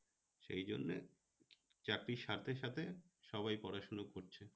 সেই জন্যে চাকরির সাথে তো সবাই পড়াশোনা করছে